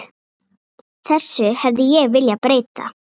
Þessu hefði ég viljað breyta.